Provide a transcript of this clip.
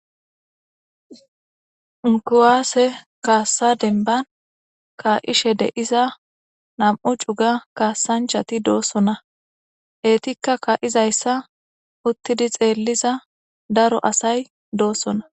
Ku'ase kasa deniban ka'ishe diza na'mu cuga kasanichati do'sona etika ka'izayisa utidi xelizayi daro asay do'sona